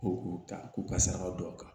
Ko k'u ta k'u ka saraka don a kan